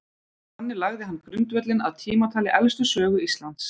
Þannig lagði hann grundvöllinn að tímatali elstu sögu Íslands.